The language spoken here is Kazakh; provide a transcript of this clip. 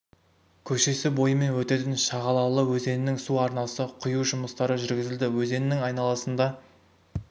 көшесі бойымен өтетін шағалалы өзенінің су арнасына құю жұмыстары жүргізілді өзеннің айналысында